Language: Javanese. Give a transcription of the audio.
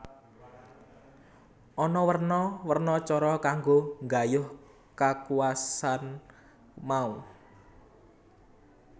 Ana werna werna cara kanggo nggayuh kakuwasan mau